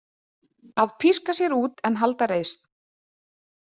Að píska sér út en halda reisn.